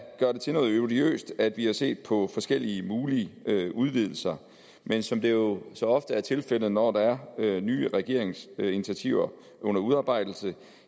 gøre det til noget odiøst at vi har set på forskellige mulige udvidelser men som det jo så ofte er tilfældet når der er nye regeringsinitiativer under udarbejdelse